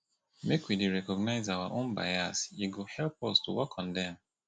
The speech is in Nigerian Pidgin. make we dey recognize our bias e go help us work on dem